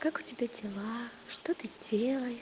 как у тебя дела что ты делаешь